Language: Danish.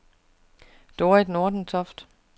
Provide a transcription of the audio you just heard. Dorit Nordentoft